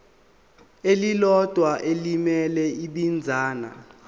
elilodwa elimele ibinzana